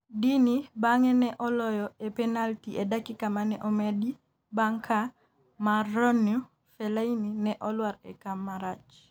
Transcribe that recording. Deeney bang'e ne oloyo e penalti e dakika mane omedi bang' ka Marouane Fellaini ne olwar e kama rach